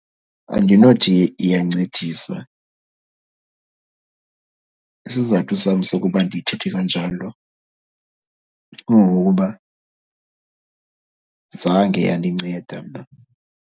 Andinothi iyancedisa. Isizathu sam sokuba ndithethe kanjalo kungokuba zange yandinceda mna.